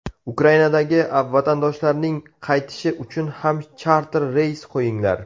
Ukrainadagi vatandoshlarning qaytishi uchun ham charter reys qo‘yinglar.